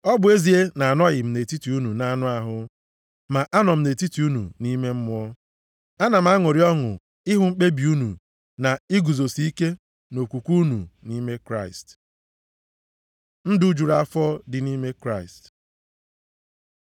Ọ bụ ezie na anọghị m nʼetiti unu nʼanụ ahụ, ma anọ m nʼetiti unu nʼime mmụọ. Ana m aṅụrị ọṅụ ịhụ mkpebi unu na iguzosi ike nʼokwukwe unu nʼime Kraịst. Ndụ juru afọ dị nʼime Kraịst